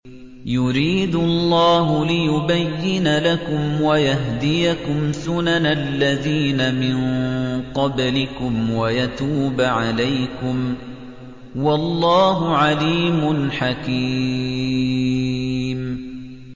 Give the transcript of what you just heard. يُرِيدُ اللَّهُ لِيُبَيِّنَ لَكُمْ وَيَهْدِيَكُمْ سُنَنَ الَّذِينَ مِن قَبْلِكُمْ وَيَتُوبَ عَلَيْكُمْ ۗ وَاللَّهُ عَلِيمٌ حَكِيمٌ